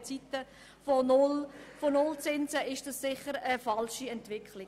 In Zeiten von Nullzinsen ist das sicher eine falsche Entwicklung.